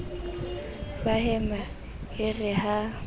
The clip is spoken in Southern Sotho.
ba hema e re ha